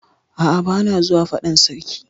A'a, bana zuwa fadan sarki.